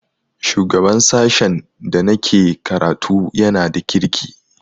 Shugaban sashen da na ke karatu ya na da kirki